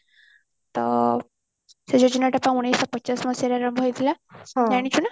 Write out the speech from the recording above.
ତ ଉଣେଇଶିଶହ ପଚାଶ ମସିହାରେ ଆରମ୍ଭ ହେଇଥିଲା ଜାଣିଛୁନା